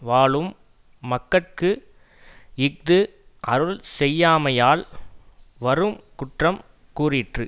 வாழும் மக்கட்கு இஃது அருள் செய்யாமையால் வரு குற்றங் கூறிற்று